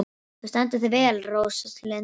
Þú stendur þig vel, Róslinda!